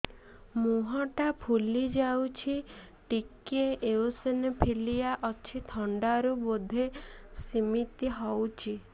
ମୁହଁ ଟା ଫୁଲି ଯାଉଛି ଟିକେ ଏଓସିନୋଫିଲିଆ ଅଛି ଥଣ୍ଡା ରୁ ବଧେ ସିମିତି ହଉଚି